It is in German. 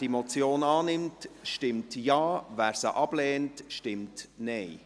Wer diese Motion annimmt, stimmt Ja, wer sie ablehnt, stimmt Nein.